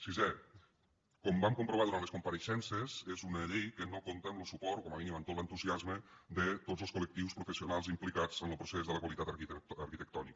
sisè com vam comprovar durant les compareixences és una llei que no compta amb lo suport o com a mínim amb tot l’entusiasme de tots els col·lectius professionals implicats en lo procés de la qualitat arquitectònica